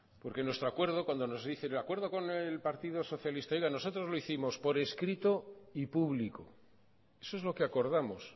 porque nuestro acuerdo cuando nos dice el acuerdo con el partido socialista nosotros lo hicimos por escrito y público eso es lo que acordamos